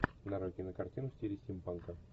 нарой кинокартину в стиле стимпанка